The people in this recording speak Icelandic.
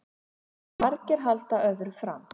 Margir halda öðru fram